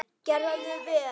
Gerði vel.